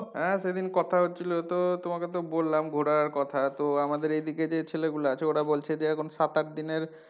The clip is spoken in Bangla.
হ্যাঁ সেদিন কথা হচ্ছিলো তো তোমাকে তো বললাম ঘোরার কথা তো আমাদের এদিকে যে ছেলে গুলা আছে ওরা বলছে যে এখন সাত আট দিনের,